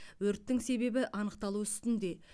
өрттің себебі анықталу үстінде